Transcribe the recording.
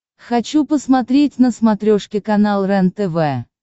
хочу посмотреть на смотрешке канал рентв